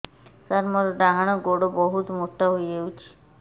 ସାର ମୋର ଡାହାଣ ଗୋଡୋ ବହୁତ ମୋଟା ହେଇଯାଇଛି